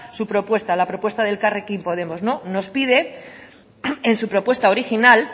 su propuesta la propuesta de elkarrekin podemos nos pide en su propuesta original